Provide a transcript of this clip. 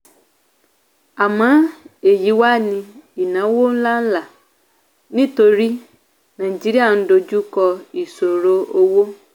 àmọ́ èyí wá ní ìnáwó ńláǹlà nítorí nàìjíríà ń dojú kọ ìṣòro owó.